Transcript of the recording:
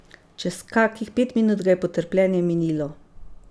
Čez kakih pet minut ga je potrpljenje minilo.